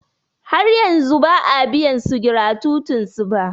Har yanzu ba a biyansu gratutin su ba.